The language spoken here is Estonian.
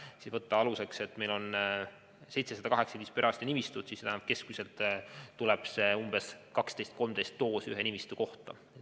Kui võtta aluseks, et meil on 718 perearstinimistut, tähendab see, et keskmiselt tuli umbes 12–13 doosi ühe nimistu kohta.